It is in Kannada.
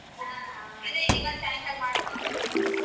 ಹ್ಮ್ ಅದೆ ಇವತ್ ಸಾಯಂಕಾಲ ಮಾಡ್ಲಿ.